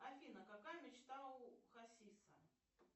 афина какая мечта у хасиса